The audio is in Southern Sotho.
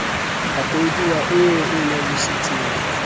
a koduwa eo e nyarositseng